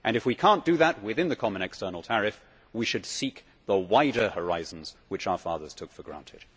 If we cannot do that within the common external tariff, we should seek the wider horizons which our fathers took for granted.